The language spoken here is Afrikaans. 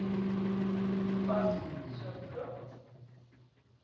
fas so vroeg